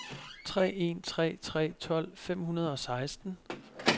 tre en tre tre tolv fem hundrede og seksten